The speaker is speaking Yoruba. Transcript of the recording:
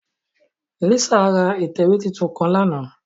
Lisa ra itẹwe titun kan làná